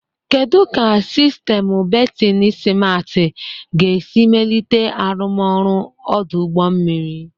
Kedu ka sistemu bertin simarti ga-esi melite arụmọrụ ọdụ ụgbọ mmiri?